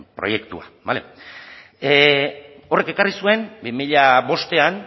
proiektua bale horrek ekarri zuen bi mila bostean